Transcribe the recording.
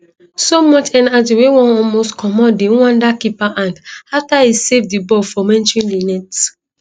so much energy wey wan almost comot di rwanda keeper hand afta e save di ball from entering di net